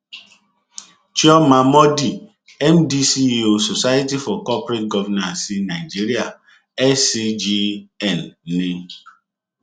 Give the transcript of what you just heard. chioma mordi mdceo society for corporate governance nigeria scgn ni